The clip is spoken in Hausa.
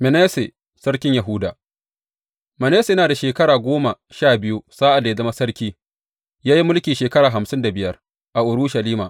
Manasse sarkin Yahuda Manasse yana da shekara goma sha biyu sa’ad da ya zama sarki, ya yi mulki shekara hamsin da biyar a Urushalima.